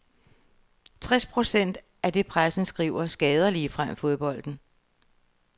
Tres procent af det pressen skriver, skader ligefrem fodbolden.